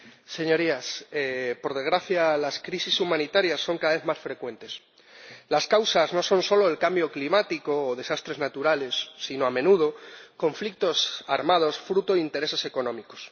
Señora Presidenta, Señorías, por desgracia las crisis humanitarias son cada vez más frecuentes. Las causas no son solo el cambio climático o desastres naturales sino, a menudo, conflictos armados fruto de intereses económicos